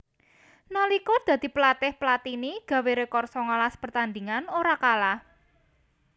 Nalika dadi pelatih Platini gawé rekor songolas pertandingan ora kalah